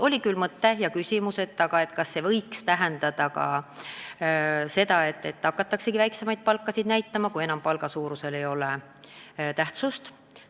Oli küll küsimus, kas muudatus võiks tähendada ka seda, et hakatakse väiksemaid palkasid näitama, kui palga suurusel ei ole enam tähtsust.